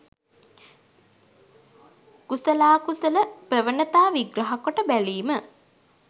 කුසලාකුසල ප්‍රවණතා විග්‍රහකොට බැලීම